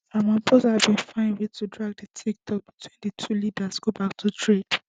ramaphosa bin find way to drag di toktok between di two leaders go back to trade